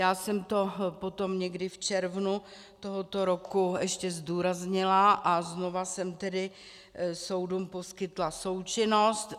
Já jsem to potom někdy v červnu tohoto roku ještě zdůraznila a znova jsem tedy soudům poskytla součinnost.